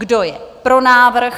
Kdo je pro návrh?